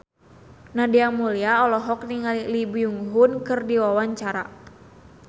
Nadia Mulya olohok ningali Lee Byung Hun keur diwawancara